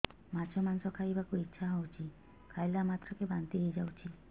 ମାଛ ମାଂସ ଖାଇ ବାକୁ ଇଚ୍ଛା ହଉଛି ଖାଇଲା ମାତ୍ରକେ ବାନ୍ତି ହେଇଯାଉଛି